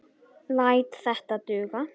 Læt þetta duga.